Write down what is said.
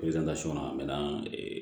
a mɛ na